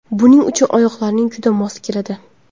Buning uchun oyoqlaring juda mos keladi”.